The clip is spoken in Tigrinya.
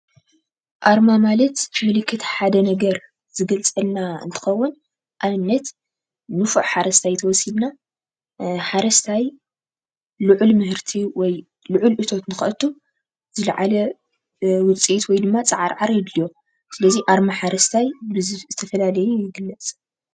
ኣርማ ማለት ምልክት ሓደ ነገር ዝገልፀልና እንትኸውን ኣብነት ንፉዕ ሓረስታይ እንተወሲድና ሓረስታይ ልዑል ምህርቲ ወይ ልዑል እቶት ንኸእቱ ዝለዓለ ውፅኢት ወይ ድማ ፃዓርዓር የድልዩ። ስለዚ ኣርማ ሓረስታይ ብዝተፈላለዩ ይግለፅ።